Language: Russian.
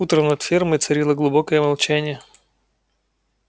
утром над фермой царило глубокое молчание